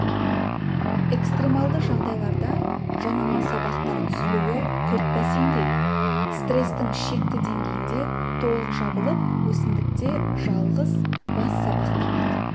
экстремалды жағдайларда жанама сабақтар түзілуі күрт бәсеңдейді стрестің шекті деңгейінде толық жабылып өсімдікте жалғыз бас сабақ дамиды